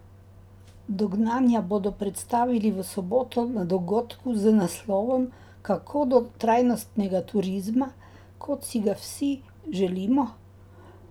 Dognanja bodo predstavili v soboto na dogodku z naslovom Kako do trajnostnega turizma, kot si ga vsi želimo?